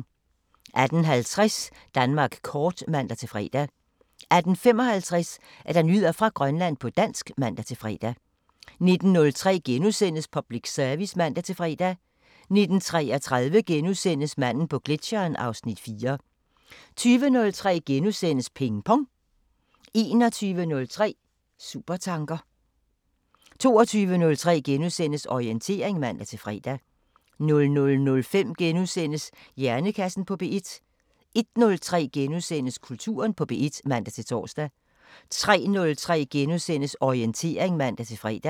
18:50: Danmark kort (man-fre) 18:55: Nyheder fra Grønland på dansk (man-fre) 19:03: Public Service *(man-fre) 19:33: Manden på gletscheren (Afs. 4)* 20:03: Ping Pong * 21:03: Supertanker 22:03: Orientering *(man-fre) 00:05: Hjernekassen på P1 * 01:03: Kulturen på P1 *(man-tor) 03:03: Orientering *(man-fre)